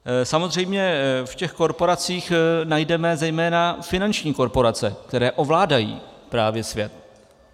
Samozřejmě v těch korporacích najdeme zejména finanční korporace, které ovládají právě svět.